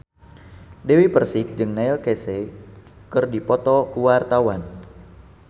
Dewi Persik jeung Neil Casey keur dipoto ku wartawan